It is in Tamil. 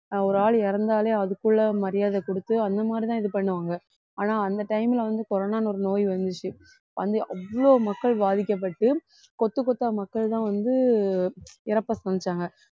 ஆஹ் ஒரு ஆள் இறந்தாலே அதுக்குள்ள மரியாதை கொடுத்து அந்த மாதிரிதான் இது பண்ணுவாங்க ஆனா அந்த time ல வந்து corona ன்னு ஒரு நோய் வந்துச்சு வந்து அவ்ளோ மக்கள் பாதிக்கப்பட்டு கொத்து கொத்தா மக்கள்தான் வந்து இறப்பை சம்பாதிச்சாங்க